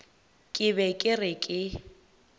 ke be ke re ke